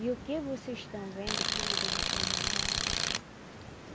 E o que vocês estão vendo, filhos de vocês não vão ver.